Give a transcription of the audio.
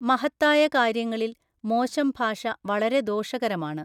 മഹത്തായ കാര്യങ്ങളിൽ, മോശം ഭാഷ വളരെ ദോഷകരമാണ്.